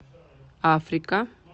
африка